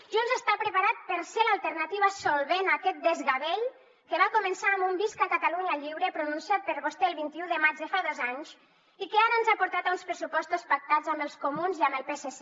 junts està preparat per ser l’alternativa solvent a aquest desgavell que va començar amb un visca catalunya lliure pronunciat per vostè el vint un de maig de fa dos anys i que ara ens ha portat a uns pressupostos pactats amb els comuns i amb el psc